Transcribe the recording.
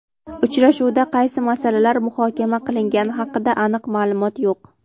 Uchrashuvda qaysi masalalar muhokama qilingani haqida aniq ma’lumot yo‘q.